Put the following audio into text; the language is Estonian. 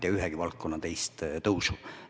Ma ei tea üheski teises valdkonnas sellist tõusu.